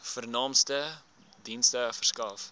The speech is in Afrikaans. vernaamste dienste verskaf